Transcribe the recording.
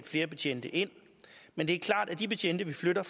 flere betjente ind men det er klart at de betjente vi flytter